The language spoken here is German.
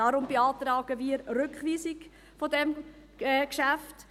Deshalb beantragen wir die Rückweisung dieses Geschäfts.